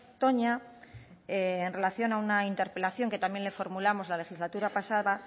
toña en relación a una interpelación que también le formulamos la legislatura pasada